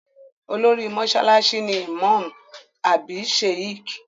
Olórí mọ́sálásí ni ìmáàmù àbí Sheikh